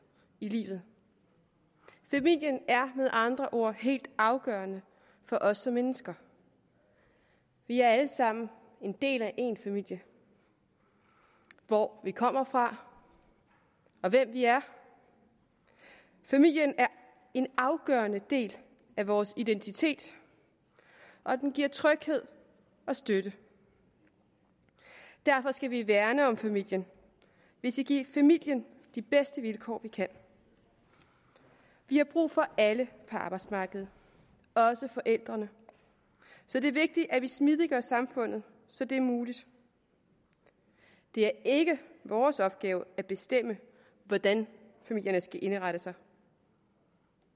i livet familien er med andre ord helt afgørende for os som mennesker vi er alle sammen en del af en familie hvor vi kommer fra og hvem vi er familien er en afgørende del af vores identitet og den giver tryghed og støtte derfor skal vi værne om familien vi skal give familien de bedste vilkår vi kan vi har brug for alle på arbejdsmarkedet også forældrene så det er vigtigt at vi smidiggør samfundet så det er muligt det er ikke vores opgave at bestemme hvordan familierne skal indrette sig